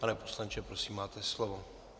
Pane poslanče, prosím, máte slovo.